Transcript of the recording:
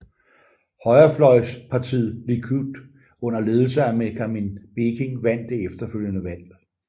Højrefløjspartiet Likud under ledelse af Menachem Begin vandt det efterfølgende valg